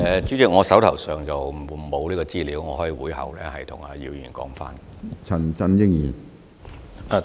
主席，我手上並無這方面的資料，我可在會後向姚議員提供。